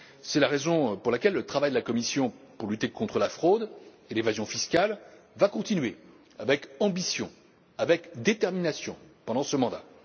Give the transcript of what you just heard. C'est la raison pour laquelle le travail de la Commission pour lutter contre la fraude et l'évasion fiscales va continuer avec ambition et détermination pendant ce mandat.